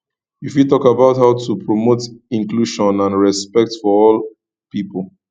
you fit talk about how to promote inclusion and respect for all people